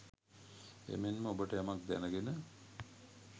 එමෙන්ම ඔබට යමක් දැනගෙන